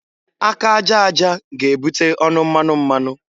Aka aja aja ga-ebute ọnụ mmanụ mmanụ.